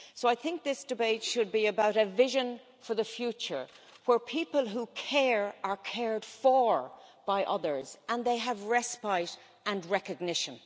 So I think this debate should be about a vision for the future, where people who care are cared for by others and have respite and recognition.